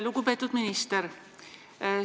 Lugupeetud minister!